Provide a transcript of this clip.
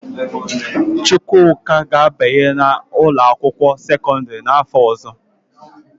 Chukwuka ga-abanye n'ụlọakwụkwọ sekọndịrị n'afọ ọzọ